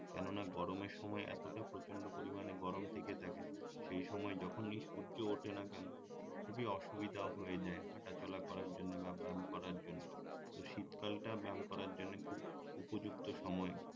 কেননা গরমের সময় এতটা প্রচন্ড পরিমানে গরম থেকে থাকে সেই সময় যখনই সূর্য উঠে না কেন খুবই অদুবিধ হয়ে যায় হাঁটাচলা করার জন্য বা ব্যায়াম করার জন্য তো শীতকালটা ব্যায়াম করার জন্য খুব উপযুক্ত সময়